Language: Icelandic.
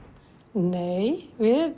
nei við